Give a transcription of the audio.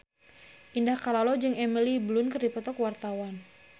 Indah Kalalo jeung Emily Blunt keur dipoto ku wartawan